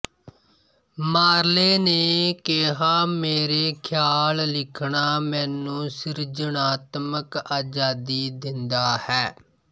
ਮਾਰਲੇ ਨੇ ਕਿਹਾ ਮੇਰੇ ਖਿਆਲ ਲਿਖਣਾ ਮੈਨੂੰ ਸਿਰਜਣਾਤਮਕ ਆਜ਼ਾਦੀ ਦਿੰਦਾ ਹੈ